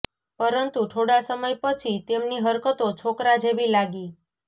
પરતું થોડા સમય પછી તેમની હરકતો છોકરા જેવી લાગી